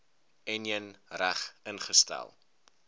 enjin reg ingestel